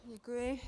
Děkuji.